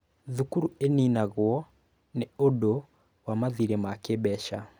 Thukuru ĩninagwo nĩ ũndũ wa mathirĩ ma kĩmbeca.